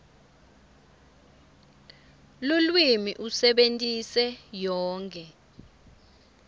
lulwimi usebentise yonkhe